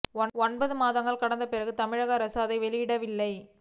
ஒன்பது மாதங்கள் கடந்த பிறகும் தமிழக அரசு அதை வெளியிடவில்லை